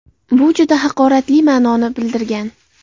Bu juda haqoratli ma’noni bildirgan.